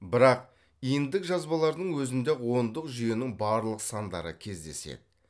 бірақ иньдік жазбалардың өзінде ақ ондық жүйенің барлық сандары кездеседі